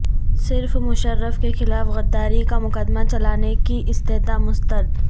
صرف مشرف کے خلاف غداری کا مقدمہ چلانے کی استدعا مسترد